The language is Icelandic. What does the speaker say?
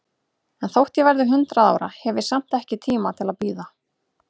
En þótt ég verði hundrað ára, hef ég samt ekki tíma til að bíða.